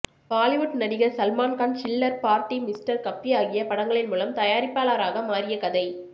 பாலிவுட் நடிகர் Salman Khan Chillar Party mister cabbie ஆகிய படங்களின் மூலம் தயாரிப்பாளராக மாறிய கதை